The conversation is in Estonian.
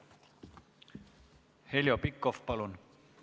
Heljo Pikhof, palun!